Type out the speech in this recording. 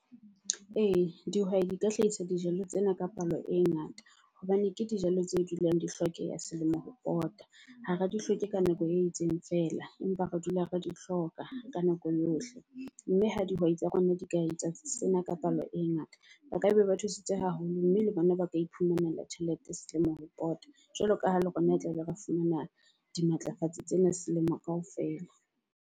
Ee, dihwai di ka hlahisa dijalo tsena ka palo e ngata hobane ke dijalo tse dulang di hlokeya selemo ho pota. Ha re di hloke ka nako e itseng feela empa re dula re di hloka ka nako yohle. Mme ha dihwai tsa rona di ka etsa sena ka palo e ngata, ba kaba ba thusitse haholo. Mme le bona ba ka iphumanela tjhelete selemo ho pota jwalo ka ha le rona tlabe ra fumana di matlafatsi tsena selemo kaofela.